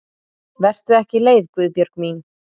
Vertu ekki leið Guðbjörg mín.